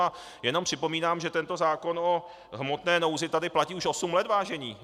A jenom připomínám, že tento zákon o hmotné nouzi tady platí už osm let, vážení.